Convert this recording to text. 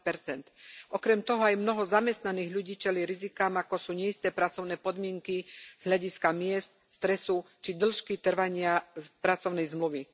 20 Okrem toho aj mnoho zamestnaných ľudí čelí rizikám, ako sú neisté pracovné podmienky z hľadiska miest, stresu či dĺžky trvania pracovnej zmluvy.